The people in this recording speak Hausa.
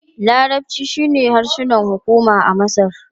Larabci shine harshen hukuma na Masar.